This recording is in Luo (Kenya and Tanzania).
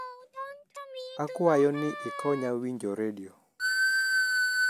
akwayo ni ikonya winjo redio